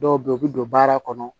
Dɔw bɛ yen u bɛ don baara kɔnɔ